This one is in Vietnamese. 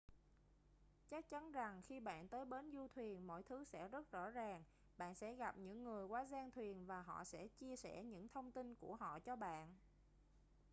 chắc chắn rằng khi bạn tới bến du thuyền mọi thứ sẽ rất rõ ràng bạn sẽ gặp những người quá giang thuyền và họ sẽ chia sẻ những thông tin của họ cho bạn